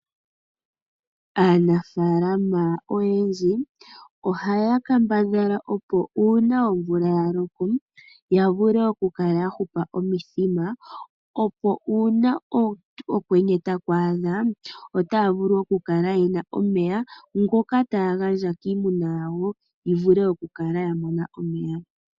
Aafaalama oyendji ohaya kambadhala opo uuna omvula ya loko ya vule okukala ya hupa omithima. Opo uuna okwenye taku adha otaya vulu okukala yena omeya ngoka taya gandja kiimuna yawo yivule okukala ya mona omeya.